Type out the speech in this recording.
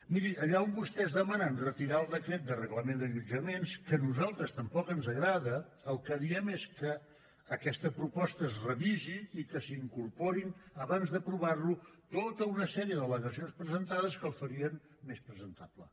miri allà on vostès demanen retirar el decret de reglament d’allotjaments que a nosaltres tampoc ens agrada el que diem és que aquesta proposta es revisi i que s’hi incorporin abans d’aprovar lo tota una sèrie d’al·legacions presentades que el farien més presentable